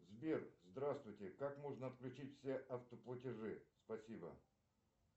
сбер здравствуйте как можно отключить все автоплатежи спасибо